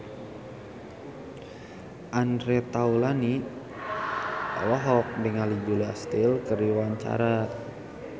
Andre Taulany olohok ningali Julia Stiles keur diwawancara